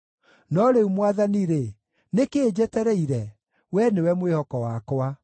“No rĩu, Mwathani-rĩ, nĩ kĩĩ njetereire? Wee nĩwe mwĩhoko wakwa.